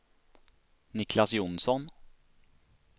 Niclas Jonsson